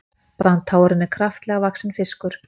Brandháfurinn er kraftalega vaxinn fiskur.